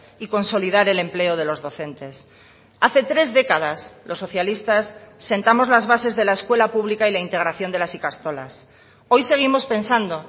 y consolidar el empleo de los docentes hace tres décadas los socialistas sentamos las bases de la escuela pública y la integración de las ikastolas hoy seguimos pensando